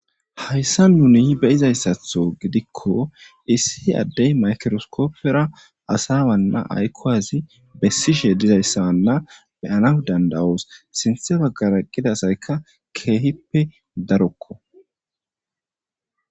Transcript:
Haysan nuni beyizaysatho gidiko issi Adey mayikiroskopera asa ayko asi besishe dizaysa beyanas danda'os sinthen bagara eqida asayka kehippe darokko